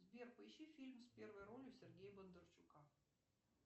сбер поищи фильм с первой ролью сергея бондарчука